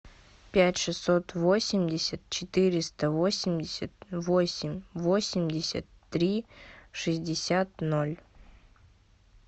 пять шестьсот восемьдесят четыреста восемьдесят восемь восемьдесят три шестьдесят ноль